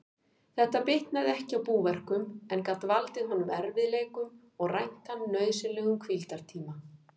Þetta bitnaði ekki á búverkum, en gat valdið honum erfiðleikum og rænt hann nauðsynlegum hvíldartíma.